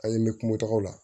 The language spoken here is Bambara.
An ye n bɛ kumagaw la